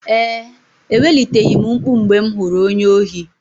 Ee, eweliteghị m mkpu mgbe m hụrụ onye ohi.